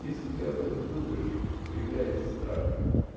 если ты об этом думаешь появляется страх